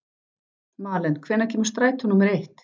Malen, hvenær kemur strætó númer eitt?